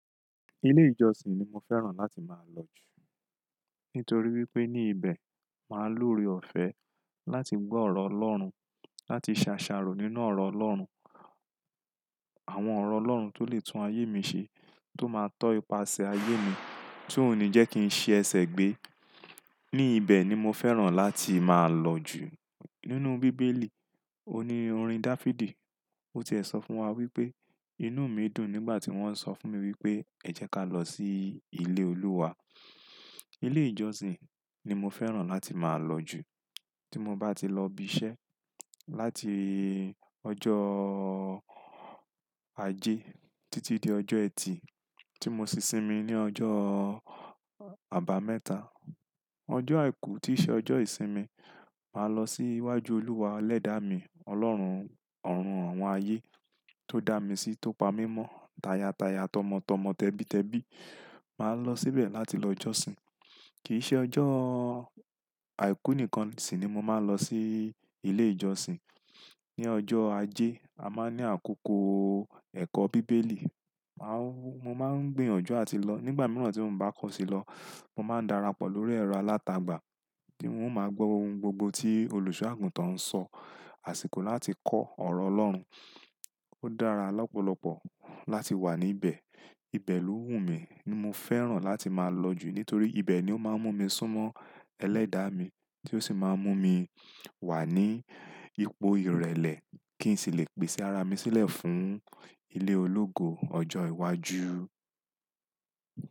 Ilé ìjọsìn ni mo fẹ́ràn láti máa lọ jù. Nítorí wípé ní ibẹ̀, máa lú re ọ̀fẹ́ láti gbọ́ ọ̀rọ̀ Ọlọ́run, láti ṣàṣàrò nínú ọ̀rọ̀ Ọlọ́run. Àwọn ọ̀rọ̀ Ọlọ́run tó lè tún ayé mi ṣe, tó máa tọ ipasẹ̀ ayé mi, tí ó ní jẹ kí n ṣe ẹsẹ̀ gbé. Ní ibẹ̀ ni mo fẹ́ràn láti máa lọ jù. Nínú bíbélì, o ní orin Dafidi, o ti ẹ sọ fún wa wípé, "Inú mi dùn nígbà tí wọ́n sọ fún mi wípé ẹ jẹ́ ká lọ sí ilé Olúwa." Ilé ìjọsìn ni mo fẹ́ràn láti máa lọ jù. Tí mo bá ti lọ ibi iṣẹ́, láti ọjọ́ Ajé títí di ọjọ́ ẹtì, tí mo sì sinmi ní ọjọ́ àbámẹ́ta. Ọjọ́ àìkú kì í ṣe ọjọ́ ìsinmi, màá lọ sí iwájú Olúwa ẹlẹ́dàá mi, Ọlọ́run ọ̀run àwọn ayé tó dá mi sí, tó pa mí mọ́ táyàtáyà, tọmọ́tọmọ, tẹbitẹbi. Màá lọ síbẹ̀ láti lọ ìjọsìn. Kì í ṣe ọjọ́ àìkú nìkan sì ni mo máa ń lọ sí ilé ìjọsìn. Ni ọjọ́ Ajé, a máa ní àkókò ẹ̀kọ́ bíbélì. Mo máa ń gbinyanju làti lọ. Nígbà mìíràn tí mo bá kọ̀ sí lọ, mo máa ń darapọ̀ lórí ẹ̀rọ alátagbà bí wọ́n bá máa gbó ohun gbogbo tí olùṣọ́-àgùntàn ń sọ. Àsìkò láti kọ́ ọ̀rọ̀ Ọlọ́run. Ó dára lọ́pọ̀lọpọ̀ láti wà níbẹ̀. Ibẹ̀ ló wù mí, ni mo fẹ́ràn láti máa lọ jù. Nítorí ibẹ̀ ni ó máa ń mú mi súnmọ́ ẹlẹ́dàá mi tí ó sì máa ń mú mi wà ní ipò ìrẹ̀lẹ̀ kí n sì lè pèsẹ ara mi sílẹ̀ fún ilé ológo ọjọ́ iwájú.